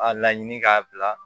A laɲini k'a bila